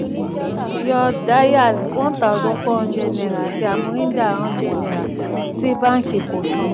yọ yọ dayal one thousand four hundred àti amrinder um hundred tí bánkì kò san.